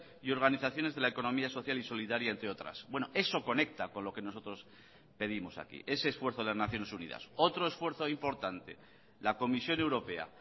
y organizaciones de la economía social y solidaria entre otras bueno eso conecta con lo que nosotros pedimos aquí ese esfuerzo de las naciones unidas otro esfuerzo importante la comisión europea